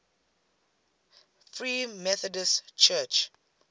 free methodist church